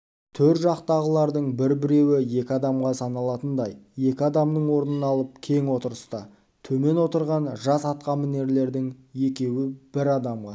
төр жақтағылардың бір-біреуі екі адамға саналатындай екі адамның орнын алып кең отырса темен отырған жас атқамінерлердің екеуі бір адамға